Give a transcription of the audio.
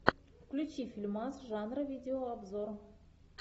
включи фильмас жанра видео обзор